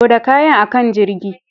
Loda kayan a kan jirgin.